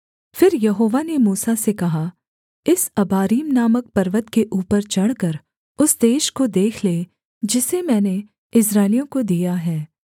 फिर यहोवा ने मूसा से कहा इस अबारीम नामक पर्वत के ऊपर चढ़कर उस देश को देख ले जिसे मैंने इस्राएलियों को दिया है